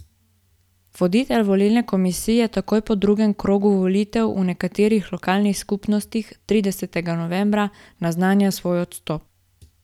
Voditelj volilne komisije takoj po drugem krogu volitev v nekaterih lokalnih skupnostih tridesetega novembra naznanja svoj odstop.